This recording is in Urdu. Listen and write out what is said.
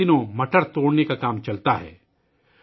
یہاں ان دنوں مٹر توڑنے کا کام جاری ہے